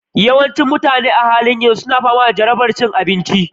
Yawancin mutane a halin yanzu suna fama da jarabar cin abinci